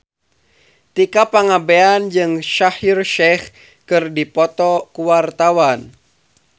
Tika Pangabean jeung Shaheer Sheikh keur dipoto ku wartawan